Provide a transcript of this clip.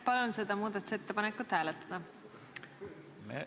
Palun seda muudatusettepanekut hääletada!